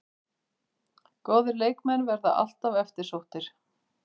Góðir leikmenn verða alltaf eftirsóttir